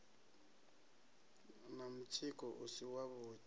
na mutsiko u si wavhuḓi